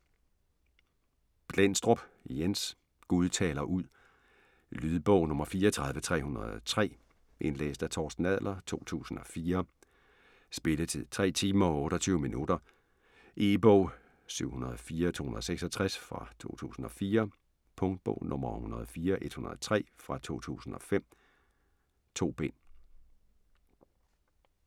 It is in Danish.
Blendstrup, Jens: Gud taler ud Lydbog 34303 Indlæst af Torsten Adler, 2004. Spilletid: 3 timer, 28 minutter. E-bog 704266 2004. Punktbog 104103 2005. 2 bind.